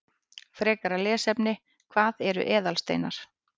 Frekara lesefni: Hvað eru eðalsteinar?